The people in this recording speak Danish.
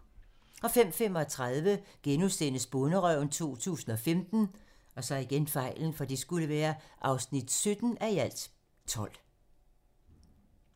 05:35: Bonderøven 2015 (17:12)*